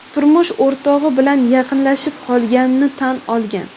turmush o‘rtog‘i bilan yaqinlashib qolganini tan olgan.